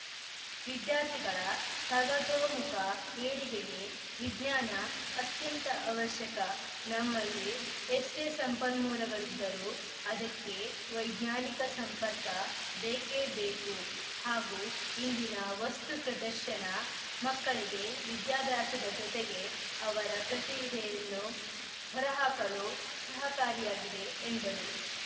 ವಿದ್ಯಾರ್ಥಿಗಳ ಸರ್ವತೋಮುಖ ಏಳಿಗೆಗೆ ವಿಜ್ಞಾನ ಅತ್ಯಂತ ಅವಶ್ಯಕ ನಮ್ಮಲ್ಲಿ ಎಷ್ಟೆಸಂಪನ್ಮೂಲಗಳಿದ್ದರೂ ಅದಕ್ಕೆ ವೈಜ್ಞಾನಿಕ ಸಂಪರ್ಕ ಬೇಕೇ ಬೇಕು ಹಾಗೂ ಇಂದಿನ ವಸ್ತು ಪ್ರದರ್ಶನ ಮಕ್ಕಳಿಗೆ ವಿದ್ಯಾಭ್ಯಾಸದ ಜೊತೆಗೆ ಅವರ ಪ್ರತಿಭೆಯನ್ನು ಹೊರಹಾಕಲು ಸಹಕಾರಿಯಾಗಿದೆ ಎಂದರು